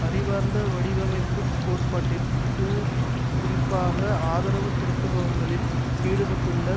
அறிவார்ந்த வடிவமைப்பு கோட்பாட்டிற்கு குறிப்பாக ஆதரவு திரட்டுபவர்களில் ஈடுபட்டுள்ள